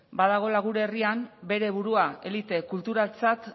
badagoela gure herrian bere burua elite kulturaltzat